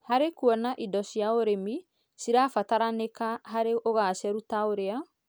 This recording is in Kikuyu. harĩ kuona indo cia ũrĩmi cirabataranĩka harĩ ũgacĩru, ta ũrĩa,